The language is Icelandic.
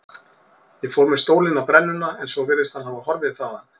Ég fór með stólinn á brennuna en svo virðist hann hafa horfið þaðan.